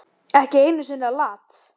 Ekki einu sinni Lat.